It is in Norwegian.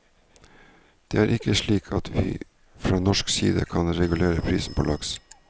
Det er ikke slik at vi fra norsk side kan regulere prisen på laks.